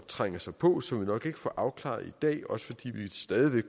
trænger sig på og som vi nok ikke får afklaret i dag også fordi vi stadig